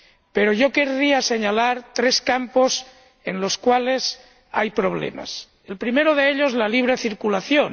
Pero yo querría señalar tres campos en los cuales hay problemas el primero de ellos, la libre circulación.